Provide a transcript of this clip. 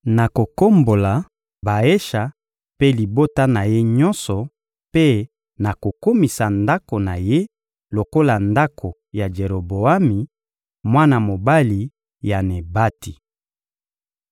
nakokombola Baesha mpe libota na ye nyonso, mpe nakokomisa ndako na ye lokola ndako ya Jeroboami, mwana mobali ya Nebati.